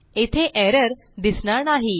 येथे एरर दिसणार नाही